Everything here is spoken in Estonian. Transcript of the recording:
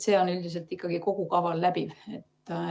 See läbib üldiselt ikkagi kogu kava.